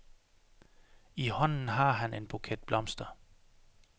I hånden har han en buket blomster.